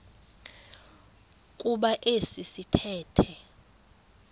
kuba esi sithethe